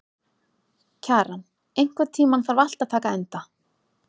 Kjaran, einhvern tímann þarf allt að taka enda.